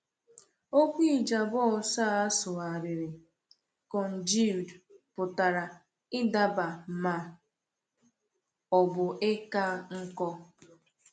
Okwu Ijabos a sụgharịrị “congealed” pụtara ịdaba ma ọ bụ ịka nkọ.